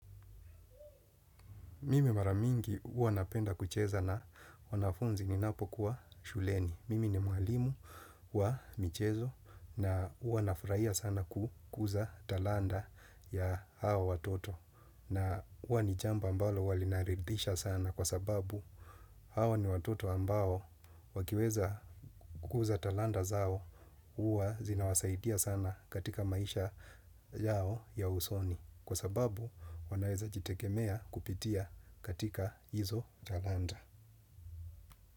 Mimi mara mingi huwa napenda kucheza na wanafunzi ninapokuwa shuleni. Mimi ni mwalimu wa michezo na huwa nafurahia sana kukuza talanta ya hao watoto. Na huwa ni jambo ambalo huwa linaridhisha sana kwa sababu hao ni watoto ambao wakiweza kukuza talanta zao. Huwa zinawasaidia sana katika maisha yao ya usoni. Kwa sababu wanaweza jitegemea kupitia katika hizo talanta.